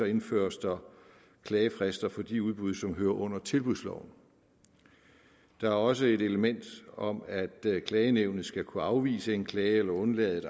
indføres der klagefrister for de udbud som hører under tilbudsloven der er også et element om at klagenævnet skal kunne afvise en klage eller undlade